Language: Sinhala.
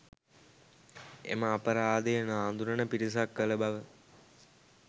එම අපරාධය නාඳුනන පිරිසක් කළ බව